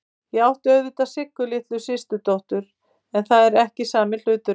Ég átti auðvitað Siggu litlu systurdóttur, en það er ekki sami hlutur.